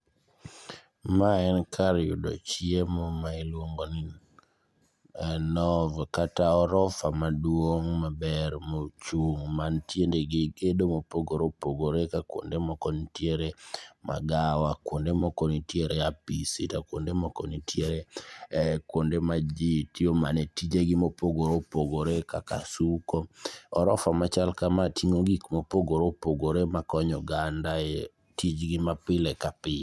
Ma en kar yudo chiemo ma iluongoni Novotel kata orofa maduong' maber mochung' mantie gedo mopogore opogore. Ka kuonde moko ntiere magawa, kuonde moko ntiere apisi, to kuonde moko nitiere kuonde ma jii tiyo mana tijegi mopogore opogore kaka suko. Orofa machal kama ting'o gik mopogore opogore makonyo oganda e tijgi mapile kapile.